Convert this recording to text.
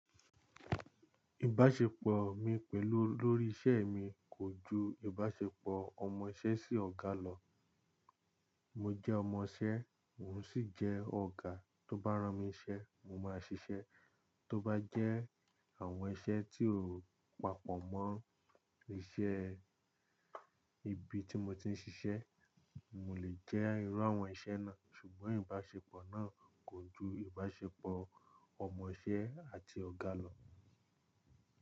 Ìbáṣepọ̀ mi pẹ̀lú olórí isẹ́ mi kò ju ìbáṣepọ̀ ọmọ iṣẹ́ sí ọ̀gá lọ. Mo jẹ́ ọmọ iṣẹ́, mò ń sì jẹ́ ọ̀gá, tó bá rán mi iṣẹ́, mo máa ṣiṣẹ́. Tó bá jẹ́ àwọn iṣẹ́ tí ò papọ̀ mọ́ iṣẹ́ ibi tí mo ti ń ṣiṣẹ́, mo lè jẹ́ irú àwọn iṣẹ́ náà, ṣùgbọ́n ìbáṣepọ̀ náà kò ju ìbáṣepọ̀ ọmọ iṣẹ́ àti ọ̀gá lọ.